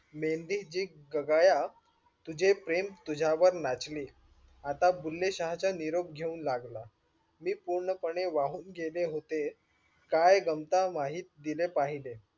मेंदी जी क्गाया तुझे प्रेम तुझ्यावर नाचले, आता बुले शहा चा निरोप घेवू लागला. मी पूर्ण पणे वाहून गेले होते काय गमत माहित तिने पहिले.